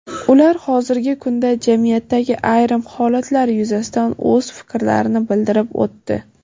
Ular hozirgi kunda jamiyatdagi ayrim holatlar yuzasidan o‘z fikrlarini bildirib o‘tdi.